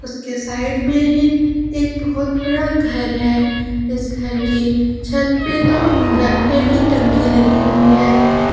इसके साइड में ही एक बहोत बड़ा घर है इस घर के छत पे दो ब्लैक कलर टंकी लगी हुई है।